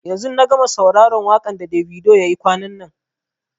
yanzu na gama sauraron wakan da Davido ya yi kwanan nan.